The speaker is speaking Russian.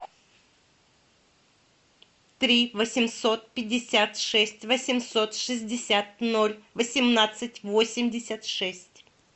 три восемьсот пятьдесят шесть восемьсот шестьдесят ноль восемнадцать восемьдесят шесть